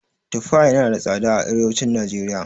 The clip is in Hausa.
Tufa yana da tsada a arewacin najeriya.